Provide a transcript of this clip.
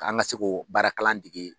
K'an ka se ko baarakalan dege.